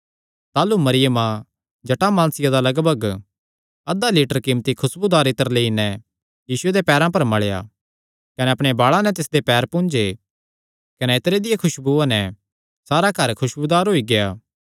ताह़लू मरियमा जटामानसिया दा लगभग अधा लीटर कीमती खुसबूदार इत्तर लेई नैं यीशुये दे पैरां पर मल़ेया कने अपणे बाल़ां नैं तिसदे पैर पुंज्जे कने इत्तरे दिया खुशबुया नैं सारा घर खुसबूदार होई गेआ